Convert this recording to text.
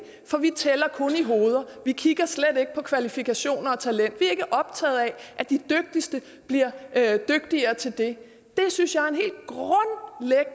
for vi tæller og vi kigger slet ikke på kvalifikationer og talent vi er ikke optaget af at de dygtigste bliver dygtigere til det det synes